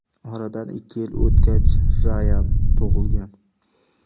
Oradan ikki yil o‘tgach Rayan tug‘ilgan.